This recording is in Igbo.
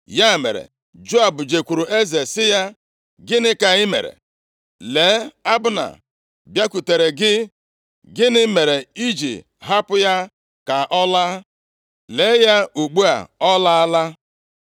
Ya mere Joab jekwuuru eze sị ya, “Gịnị ka i mere? Lee, Abna bịakwutere gị. Gịnị mere i ji hapụ ya ka ọ laa? Lee ya ugbu a, ọ laala!